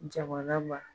Jamana ma